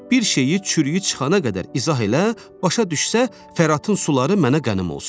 Bir şeyi çürüyü çıxana qədər izah elə, başa düşsə Fəratın suları mənə qənim olsun.